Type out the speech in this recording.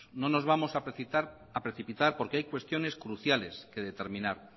no nos vamos a precipitar porque hay cuestiones cruciales que determinar